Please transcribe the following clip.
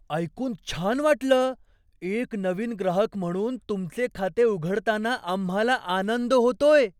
ऐकून छान वाटलं! एक नवीन ग्राहक म्हणून तुमचे खाते उघडताना आम्हाला आनंद होतोय.